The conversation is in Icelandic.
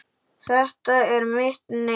Þetta er mitt nef.